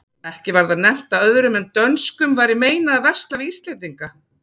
Ekki var þar nefnt að öðrum en dönskum væri meinað að versla við íslendinga.